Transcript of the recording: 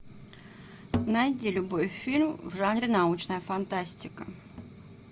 найди любой фильм в жанре научная фантастика